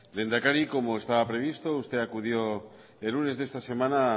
lehendakari como estaba previsto usted acudió el lunes de esta semana